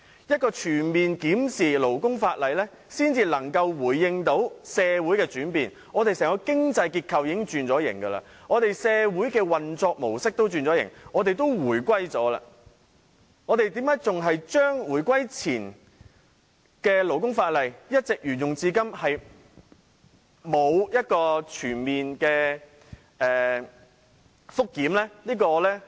只有全面檢討勞工法例，才能順應社會的轉變，香港經濟結構已經轉型，社會運作模式亦已轉型，我們已回歸多年，為何回歸前的勞工法例仍沿用至今，沒有全面檢討？